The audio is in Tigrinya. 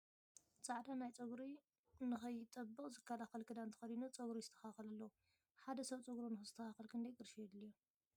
ፃዕዳ ናይ ፀጉሪ ን ከይጠብቅ ዝከላከል ኪዳን ተከዲኑ ፀጉሩ ይስተካከል ኣሎ ። ሓደ ሰብ ፀጉሩ ንክስተካከል ክንደይ ቕርሺ የድልዮ ?